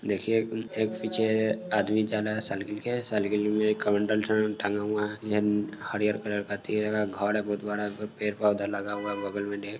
देखिये एक पीछे आदमी जा रहा हैं शालगिल मैं शालगिल में एक कमंडल का टेंग हुआ हैं हरियल कलर का पेड़ हैं घर हैं बोहोत बड़ा पेड़ पौधा लगा हुआ हैं।